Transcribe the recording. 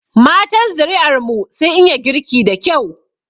Matan zuri'ar mu sun iya girki da kyau.